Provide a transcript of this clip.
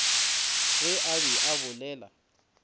ge a be a bolela